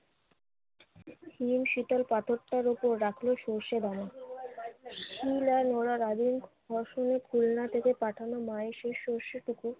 নিম শীতল পাথরটার ওপর রাখলো সরষে দানা। শীল আর নোড়ার খুলনা থেকে পাঠানো মায়ের সেই সরষেটুকু